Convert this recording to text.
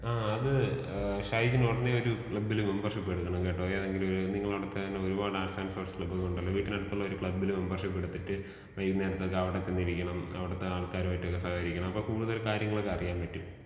ആ അത് ഏഹ് ഷൈജിന് ഒടനെയൊരു ക്ലബ്ബിൽ മെമ്പർഷിപ്പ് എടുക്കണം കേട്ടോ.ഏതെങ്കിലും ഒരു നിങ്ങൾ അവിടെ തന്നെ ഒരുപാട് ആർട്സ് ആൻഡ് സ്പോർട്സ് ക്ലബ്ബുകളുണ്ടല്ലോ. വീട്ടിനടുത്തുള്ള ഒരു ക്ലബ്ബിൽ മെമ്പർഷിപ്പ് എടുത്തിട്ട് വൈന്നേരത്തൊക്കെ അവിടെ ചെന്നിരിക്കണം. അവിടത്തെ ആൾക്കാരുമായിട്ട് സഹകരിക്കണം. അപ്പൊ കൂടുതൽ കാര്യങ്ങളൊക്കെ അറിയാൻ പറ്റും.